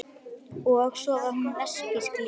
Og svo var hún lesbísk líka.